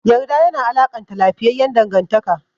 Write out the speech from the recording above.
Yarda yana alakanta lafiyayyan dangantaka.